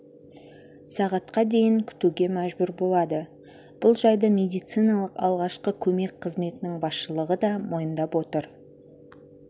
сағатқа дейін күтуге мәжбүр болады бұл жайды медициналық алғашқы көмек қызметінің басшылығы да мойындап отыр